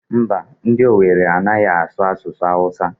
Mba, ndị Owere anaghị asụ asụsụ Awụsa.